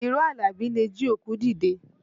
Irọ́ Àlàbí le jí òkú dìde